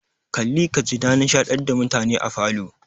Kalli ka ji na nishadantar da mutane a falo.